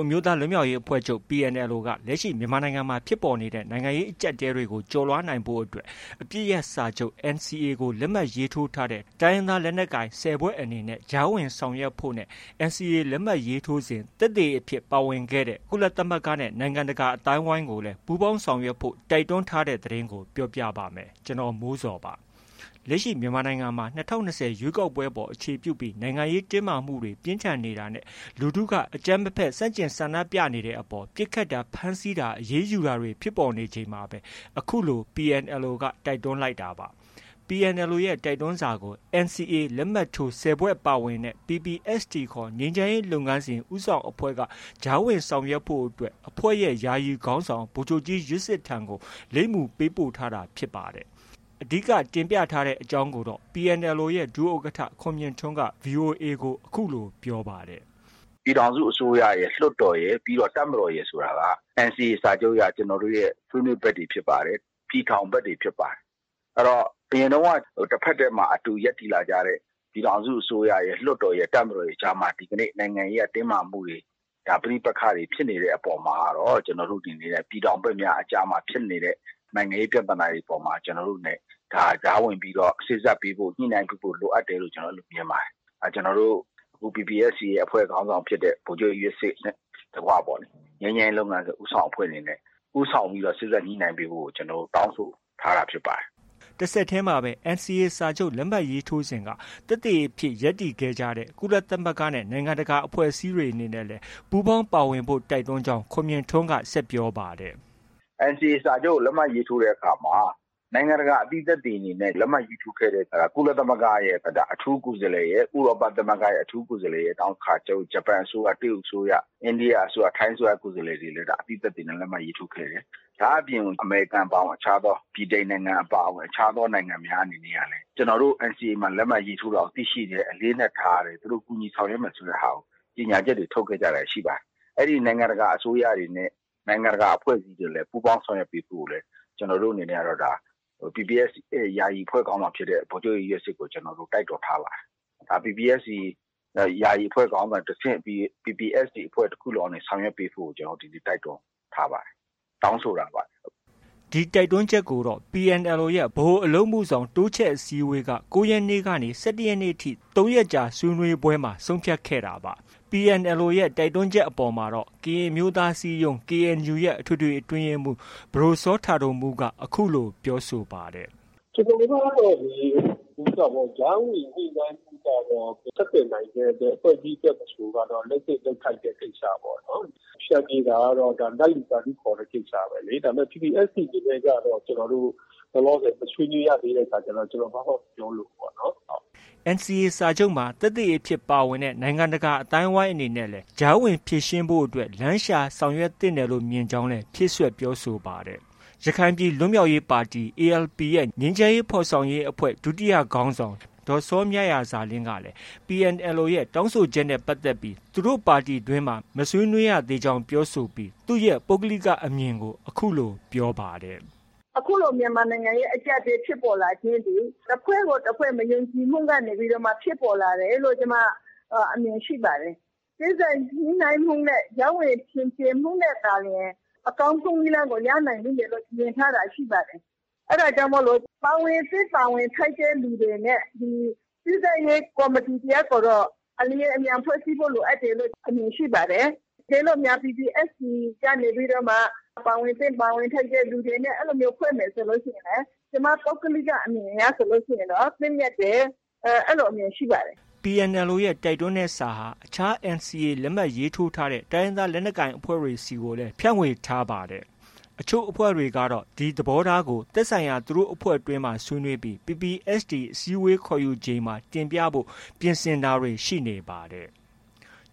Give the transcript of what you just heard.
အမျိုးသားလွတ်မြောက်ရေးအဖွဲ့ချုပ် က လက်ရှိ မြန်မာနိုင်ငံမှာ ဖြစ်ပေါ်နေတဲ့ အကျပ်အတည်းတွေကို ကျော်လွှားနိုင်ရေးအတွက် အပစ်ရပ်စာချုပ် NCA လက်မှတ်ထိုး ၁၀ ဖွဲ့အနေနဲ့ ကြားဝင်ဆောင်ရွက်ဖို့နဲ့ NCA လက်မှတ်ရေးထိုးစဉ် သက်သေအဖြစ် ပါဝင်ခဲ့တဲ့ ကုလသမဂ္ဂနဲ့ နိုင်ငံတကာ အသိုင်းအဝိုင်းကိုလည်း ပူးပေါင်းဆောင်ရွက်ဖို့ တင်ပြထားပါတယ်။ အပြည့်အစုံကို ကိုမိုးဇော် စုစည်းတင်ပြထားပါတယ်။ လက်ရှိ မြန်မာနိုင်ငံမှာ ၂၀၂၀ ရွေးကောက်ပွဲအပေါ် အခြေပြုပြီး နိုင်ငံရေးတင်းမာမှုတွေ ပြင်းထန်နေတာနဲ့ လူထုက အကြမ်းမဖက် ဆန့်ကျင် ဆန္ဒပြနေတဲ့အပေါ် ပစ်ခတ်တာ၊ ဖမ်းဆီးတာ၊ အရေးယူတာတွေ ဖြစ်ပေါ်နေချိန်မှာပဲ အခုလို PNLO က တိုက်တွန်းလိုက်တာပါ။ PNLO ရဲ့ တိုက်တွန်းစာကို NCA လက်မှတ်ထိုး ၁၀ ဖွဲ့ ပါဝင်တဲ့ PPST ခေါ် ငြိမ်းချမ်းရေးလုပ်ငန်းစဉ် ဦးဆောင်အဖွဲ့က ကြားဝင်ဆောင်ရွက်ဖို့အတွက် အဖွဲ့ရဲ့ ယာယီအဖွဲ့ခေါင်းဆောင် ဗိုလ်ချုပ်ကြီးယွက်စစ်ထံကို လိပ်မူပေးပို့ထားတာ ဖြစ်ပါတယ်။ အဓိက တင်ပြရတဲ့ အကြောင်းကိုတော့ PNLO ရဲ့ ဒုဥက္ကဋ္ဌ ခွန်မြင့်ထွန်းက ဗွီအိုအေကို အခုလို ပြောပါတယ်။ “ပြည်ထောင်စုအစိုးရရယ်၊ လွှတ်တော်ရယ်၊ တပ်မတော်ရယ် ဆိုတာက NCA စာချုပ်အရ ကျနော်တို့ရဲ့ ဆွေးနွေးဘက်တွေ ဖြစ်ပါတယ်၊ ပြည်ထောင်ဘက်တွေ ဖြစ်ပါတယ်။ အရင်တုန်းက တဖက်တည်းမှာ အတူရပ်တည်လာခဲ့တဲ့ ပြည်ထောင်စုအစိုးရရယ်၊ လွှတ်တော်ရယ်၊ တပ်မတော်ရယ်အကြားမှာ ဒီကနေ့ နိုင်ငံရေးအရ တင်းမာမှုတွေ ပဋိပက္ခတွေဖြစ်နေတဲ့ အပေါ်မှာကတော့ ကျနော်တို့ အနေနဲ့ ပြည်ထောင်ဘက်များအကြားမှာ ဖြစ်နေတဲ့ နိုင်ငံရေးပြဿနာတွေ အပေါ်မှာ ကျနော်တို့အနေနဲ့ ကြားဝင်ပြီးတော့ စေ့စပ်ပေးဖို့၊ ညှိနှိုင်းပေးဖို့ လိုအပ်တယ်လို့ ကျနော်တို့ မြင်ပါတယ်။ ကျနော်တို့ PPST အဖွဲ့ခေါင်းဆောင်ဖြစ်တဲ့ ဗိုလ်ချုပ်ကြီးယွက်စစ်နဲ့ တကွပေါ့လေ ငြိမ်းချမ်းရေးလုပ်ငန်းစဉ် ဦးဆောင်အဖွဲ့အနေနဲ့ ဦးဆောင်ပြီးတော့ စေ့စပ်ညှိနှိုင်းပေးဖို့ကို ကျနော်တို့ တောင်းဆိုထားတာ ဖြစ်ပါတယ်။” တဆက်တည်းမှာပဲ NCA စာချုပ် လက်မှတ်ထိုးစဉ်က သက်သေအဖြစ် ရပ်တည်ခဲ့တဲ့ ကုလသမဂ္ဂနဲ့ နိုင်ငံတကာ အဖွဲ့အစည်းတွေ အနေနဲ့လည်း ပူးပေါင်းပါဝင်ဖို့ တိုက်တွန်းကြောင်း ခွန်မြင့်ထွန်းက ဆက်ပြောပါတယ်။ “NCA စာချုပ်ကို လက်မှတ်ရေးထိုးတဲ့အခါမှာ နိုင်ငံတကာ အသိသက်သေအနေနဲ့ လက်မှတ်ရေးထိုးခဲ့ကြတဲ့ ကုလသမဂ္ဂရဲ့ အထူးကိုယ်စားလှယ်၊ ဥရောပသမဂ္ဂရဲ့ အထူးကိုယ်စားလှယ်ရယ်၊ နောက် ဂျပန်အစိုးရ၊ တရုတ်အစိုးရ၊ အိန္ဒိယအစိုးရ၊ ထိုင်းအစိုးရ ကိုယ်စားလှယ်တွေလည်း အသိသက်သေအနေနဲ့ လက်မှတ်ရေးထိုးခဲ့တယ်။ ဒါ့အပြင် အမေရိကန် အပါအဝင် အခြားသော ဗြိတိန်နိုင်ငံ အပါအဝင် အခြားသောနိုင်ငံတွေ အနေနဲ့ကလည်း ကျနော်တို့ NCA လက်မှတ်ရေးထိုးတာကို သိရှိတယ်၊ အလေးအနက်ထားတယ်။ သူတို့ ကူညီဆောင်ရွက်မယ် ဆိုတာကို သူတို့ကြေညာချက်တွေ ထုတ်ခဲ့ကြတာတွေ ရှိပါတယ်။ အဲဒီ နိုင်ငံတကာ အဖွဲ့တွေနဲ့ နိုင်ငံတကာ အစိုးရတွေ အနေနဲ့လည်း ပူးပေါင်းဆောင်ရွက်ပေးဖို့ကို ကျနော်တို့အနေနဲ့ PPST ယာယီအဖွဲ့ခေါင်းဆောင် ဗိုလ်ချုပ်ကြီးယွက်စစ်ကိုလည်း တိုက်တွန်းထားပါတယ်။ PPST ယာယီအဖွဲ့ ခေါင်းဆောင်ကတဆင့် PPST တဖွဲ့လုံးကနေ ဆောင်ရွက်ပေးဖို့ကို ကျနော်တို့ တိုက်တွန်းထားပါတယ်။ တောင်းဆိုတာပါ။” ဒီတိုက်တွန်းချက်ကိုတော့ PNLO ရဲ့ ဗဟိုအလုပ်အမှုဆောင် အစည်းအဝေးက ၉ ရက်နေ့ကနေ ၁၁ နေ့ထိ ၃ ရက်ကြာ ဆွေးနွေးပွဲမှာ ဆုံးဖြတ်ခဲ့တာပါ။ ဒီတိုက်တွန်းချက်အပေါ်မှာတော့ ကရင်အမျိုးသားအစည်းအရုံး ရဲ့ အထွေထွေအတွင်းရေးမှူး ပဒိုစောတာဒိုမူးက အခုလို ပြောဆိုပါတယ်။ “ကျနော်တို့ကတော့ ကြားဝင် ညှိနှိုင်းပေးဖို့ကတော့ ဆက်သွယ်နိုင်တဲ့ ဘယ်အဖွဲ့အစည်းအတွက် မဆိုကတော့ လုပ်သင့်လုပ်ထိုက်တဲ့ ကိစ္စပေါ့နော်။ ဖျန်ဖြေတာကတော့ နတ်လူသာဓုခေါ်တဲ့ ကိစ္စပဲလေ။ ဒါပေမယ့် PPST အနေနဲ့ကတော့ ကျနော်တို့ လောလောဆယ် မဆွေးနွေးရသေးတဲ့ အခါကျတော့ ကျနော် ဘာမှ မပြောလိုဘူးေ့ပါ့နော်။” NCA စာချုပ်မှာ သက်သေအဖြစ် ပါဝင်ခဲ့တဲ့ နိုင်ငံတကာ အသိုင်းအဝိုင်းအနေနဲ့လည်း ကြားဝင်ဖြေရှင်းရေးအတွက် လမ်းရှာ ဆောင်ရွက်သင့်တယ်လို့ မြင်ကြောင်းလည်း ဖြည့်စွက် ပြောဆိုပါတယ်။ ရခိုင်အမျိုးသားလွတ်မြောက်ရေးပါတီ ရဲ့ ငြိမ်းချမ်းရေးဖော်ဆောင်ရေးအဖွဲ့ ဒုတိယခေါင်းဆောင် ဒေါ်စောမြရာဇာလင်းက PNLO ရဲ့ တောင်းဆိုချက်နဲ့ ပတ်သက်ပြီး သူတို့ပါတီတွင်းမှာ မဆွေးနွေးရသေးကြောင်း ပြောဆိုပြီး သူ့ရဲ့ ပုဂ္ဂလိကအမြင်ကို အခုလို ပြောပါတယ်။ “အခုလို မြန်မာနိုင်ငံရဲ့ အကျပ်အတည်း ဖြစ်ပေါ်လာခြင်းသည် တဖွဲ့ကိုတဖွဲ့ မယုံကြည်မှုကနေ ဖြစ်ပေါ်လာတယ်လို့ ကျမ အမြင်ရှိပါတယ်။ စေ့စပ်ညှိနှိုင်းမှုနဲ့ ကြားဝင်ဖျန်ဖြေမှုနဲ့သာလျှင် အကောင်းဆုံးနည်းလမ်းကို ရနိုင်လိမ့်မယ်လို့ မြင်ထားတာ ရှိပါတယ်။ အဲဒါကြောင့်မို့ ပါဝင်သင့် ပါဝင်ထိုက်တဲ့သူတွေနဲ့ ဒီ စေ့စပ်ရေးကော်မတီ တရပ်ကိုတော့ အလျင်အမြန် ဖွဲ့စည်းဖို့ လိုအပ်တယ်လို့ အမြင်ရှိပါတယ်။ တကယ်လို့များ PPST ကနေပြီးတော့မှ ပါဝင်သင့် ပါဝင်ထိုက်တဲ့ သူတွေနဲ့ အဲလိုမျိုး ဖွဲ့မယ်ဆိုရင် ကျမ ပုဂ္ဂလိက အမြင်အရဆိုရင်တော့ သင့်မြတ်တယ်။ အဲလိုအမြင်ရှိပါတယ်။” PNLO ရဲ့ တိုက်တွန်းတဲ့စာဟာ အခြား NCA လက်မှတ်ရေးထိုးထားတဲ့ တိုင်းရင်းသား လက်နက်ကိုင်အဖွဲ့တွေဆီကိုလည်း ဖြန့်ဝေထားပါတယ်။ အချို့အဖွဲ့တွေကတော့ ဒီသဘောထားကို သက်ဆိုင်ရာ သူတို့အဖွဲ့တွင်းမှာ ဆွေးနွေးပြီး PPST အစည်းအဝေး ခေါ်ယူချိန်မှာ တင်ပြဖို့ ပြင်ဆင်တာတွေ ရှိနေပါတယ်။